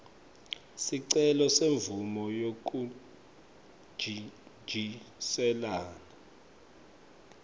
sicelo semvumo yekuntjintjiselana